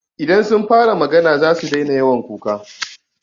Idan sun fara magana zasu daina yawan kuka.